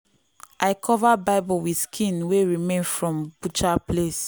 i cover bible with skin wey remain from butcher place.